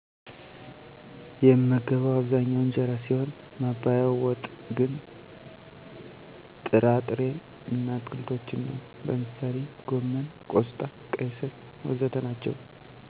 የምመገበው አብዛኛው እንጀራ ሲሆን ማባያው ወጥ ግን ጥራ ጥሬ እና አትክልቶችን ነው። ለምሳሌ ጎመን፣ ቆስጣ፣ ቀይ ስር.... ወዘተ ናቸዉ